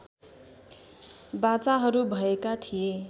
बाचाहरू भएका थिए